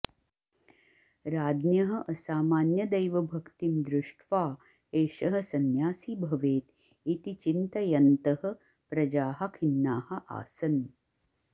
राज्ञः असामान्यदैवभक्तिं दृष्ट्वा एषः संन्यासी भवेत् इति चिन्तयन्तः प्रजाः खिन्नाः आसन्